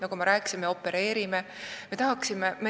Nagu ma rääkisin, me isegi opereerime.